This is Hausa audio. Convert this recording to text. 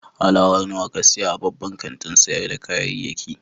Alawar nawa ka saya a babban kantin sayar da kayayyaki?